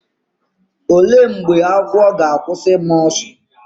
olee mgbe agwọ ga-akwụsị ịma ọsọ?